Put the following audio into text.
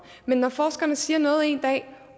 men når forskerne siger noget en dag